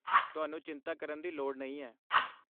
ਤੁਹਾਨੂੰ ਚਿੰਤਾ ਕਰਨ ਦੀ ਲੋੜ ਨਹੀਂ ਹੈ।